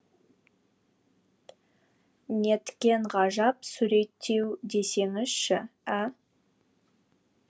неткен ғажап суреттеу десеңізші ә